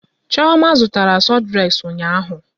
Chioma zụtara sọdreks ụnyaahụ.